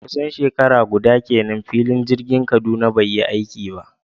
Kusan shekara guda kenan filin jirgin Kaduna bai yi aiki ba